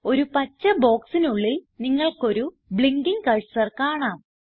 ഒരു പച്ച ബോക്സിനുള്ളിൽ നിങ്ങൾക്കൊരു ബ്ലിങ്കിങ് കർസർ കാണാം